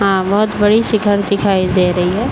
बड़ी सी घर दिखाई दे रही है।